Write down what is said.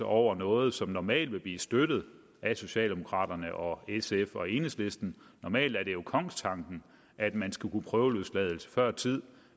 over noget som normalt ville blive støttet af socialdemokraterne og sf og enhedslisten normalt er det jo kongstanken at man skulle kunne prøveløslades før tiden